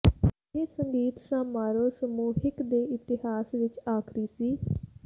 ਇਹ ਸੰਗੀਤ ਸਮਾਰੋਹ ਸਮੂਹਿਕ ਦੇ ਇਤਿਹਾਸ ਵਿੱਚ ਆਖਰੀ ਸੀ